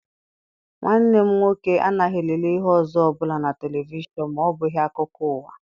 Nwanne m nwoke anaghị elele ihe ọzọ ọbụla na televishọn ma ọbụghị akụkọ ụwa.